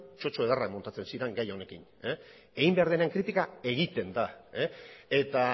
txotxo ederrak montatzen ziren gai honekin egin behar denean kritika egiten da eta